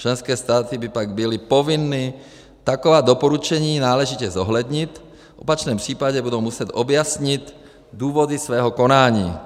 Členské státy by pak byly povinny taková doporučení náležitě zohlednit, v opačném případě budou muset objasnit důvody svého konání.